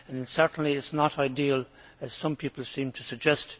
Certainly it is not ideal, as some people seem to suggest.